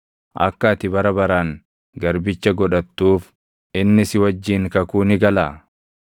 Akka ati bara baraan garbicha godhattuuf inni si wajjin kakuu ni galaa?